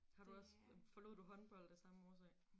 Har du også forlod du håndbold af samme årsag?